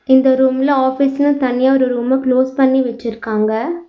இந்த ரூம்ல ஆஃபிஸ்னு தனியா ஒரு ரூமா க்ளோஸ் பண்ணி வச்சுருக்காங்க.